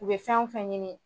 U bɛ fɛn o fɛn ɲini